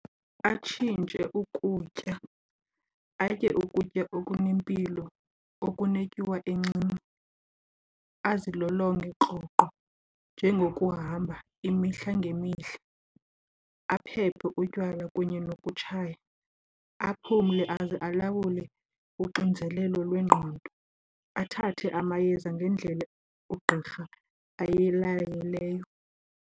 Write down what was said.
Atshintshe ukutya atye ukutya okunempilo, okunetyuwa encinci. Azilolonge rhoqo njengokuhamba imihla ngemihla, aphephe utywala kunye nokutshaya, aphumle aze alawule uxinzelelo lwengqondo, athathe amayeza ngendlela ugqirha ayilayileyo.